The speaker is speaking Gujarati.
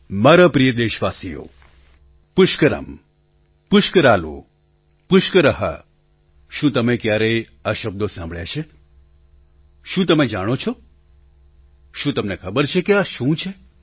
મારા પ્રિય દેશવાસીઓ પુષ્કરમ પુષ્કરાલુ પુષ્કર શું તમે ક્યારેય આ શબ્દો સાંભળ્યા છે શું તમે જાણો છો તમને ખબર છે કે આ શું છે